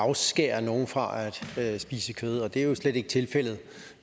afskære nogen fra at spise kød og det er jo slet ikke tilfældet